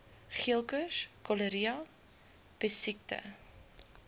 geelkoors cholera pessiekte